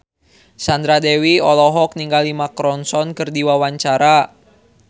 Sandra Dewi olohok ningali Mark Ronson keur diwawancara